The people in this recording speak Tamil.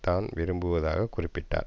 தான் விரும்புவதாக குறிப்பிட்டார்